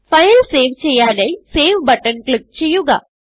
file save ചെയ്യാനായി save button click ചെയ്യുക